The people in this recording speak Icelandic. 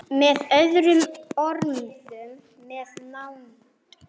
Með öðrum orðum- með nánd.